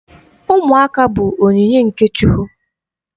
Ụmụaka bụ onyinye nke Chukwu.